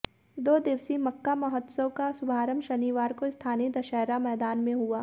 दो दिवसीय मक्का महोत्सव का शुभारंभ शनिवार को स्थानीय दशहरा मैदान में हुआ